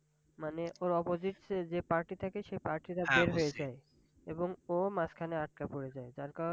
মানে ওর Oposites এ যে Party থাকে সেই Party রও জেল হয়ে যায় এবং ও মাঝখানে আটকা পড়ে জায়। যার কারনে